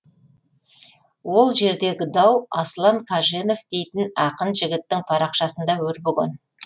ол жердегі дау аслан қаженов дейтін ақын жігіттің парақшасында өрбіген